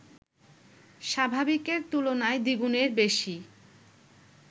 স্বাভাবিকের তুলনায় দ্বিগুণের বেশি